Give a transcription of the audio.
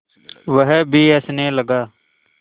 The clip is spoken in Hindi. वह भी हँसने लगा